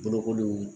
Bolokoliw